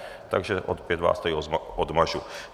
Takže opět vás tady odmažu.